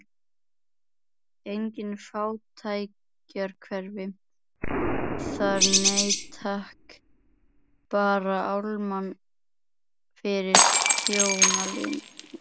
Engin fátækrahverfi þar, nei takk, bara álma fyrir þjónaliðið.